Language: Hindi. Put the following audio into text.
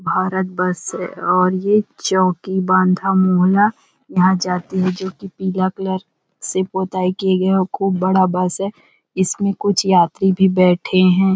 भारत बस है और ये चौकी बांधा मोहला यहां जाती है जो कि पीला कलर से पोताई किए गए और खूब बड़ा बस है इसमें कुछ यात्री भी बैठे हैं।